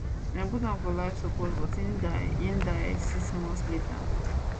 dem put am for life support but im die im die die six months later